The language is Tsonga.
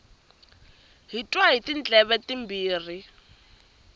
hi twa hi tindleve timbirhi